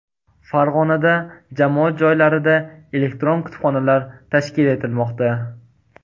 Farg‘onada jamoat joylarida elektron kutubxonalar tashkil etilmoqda.